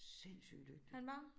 Sindssyg dygtig